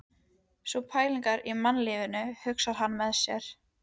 Sú pælir í mannlífinu, hugsar hann með sér.